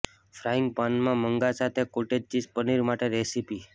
frying પાનમાં મંગા સાથે કોટેજ ચીઝ પનીર માટે રેસીપી